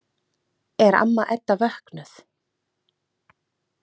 Er amma Edda vöknuð?